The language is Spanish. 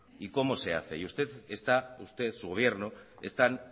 y cómo se hace y usted está usted su gobierno están